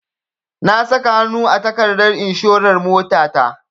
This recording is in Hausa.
Na saka hanu a takardar inshorar motata.